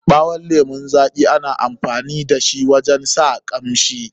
Ɓawon lemun zaƙi ana iya amfani da shi wajen sa kanshi.